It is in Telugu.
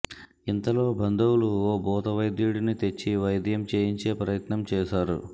ఇంతలో బంధువులు ఓ భూతవైద్యుడిని తెచ్చి వైద్యం చేయించే ప్రయత్నం చేశారు